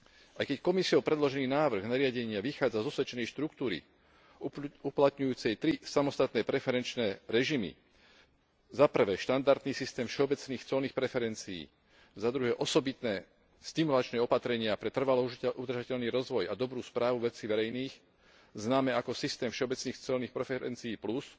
Aj keď Komisiou predložený návrh nariadenia vychádza z osvedčenej štruktúry uplatňujúcej tri samostatné preferenčné režimy 1 štandardný systém všeobecných colných preferencií, 2 osobitné stimulačné opatrenia pre trvalo udržateľný rozvoj a dobrú správu vecí verejných, známe ako systém všeobecných colných preferencií PLUS,